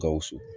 Gawusu